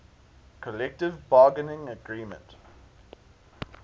collective bargaining agreement